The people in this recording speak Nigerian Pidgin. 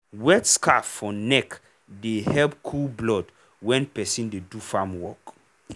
wet scarf for neck dey help cool blood when person dey do farm work.